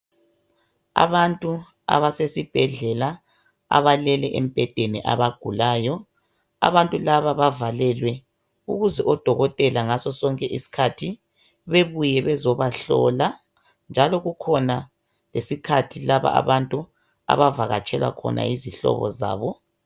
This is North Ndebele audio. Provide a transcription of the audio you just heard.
Abantu abasesibhedlela abalele embhedeni abagulayo. Abantu laba bavalelwe ukuze odokotela ngaso sonke isikhathi bebuye bezebahlola, njalo kukhona lesikhathi laba abantu abavakatshelwa khona yizihlobo zabo.